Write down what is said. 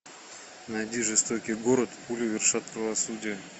найди жестокий город пули вершат правосудие